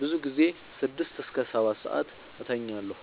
ብዙ ጊዜ ስድስት እስከ ሰባትሰዓት እተኛለሁ